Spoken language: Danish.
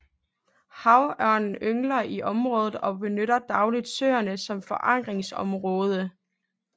Havørnen yngler i området og benytter dagligt søerne som fourageringsområde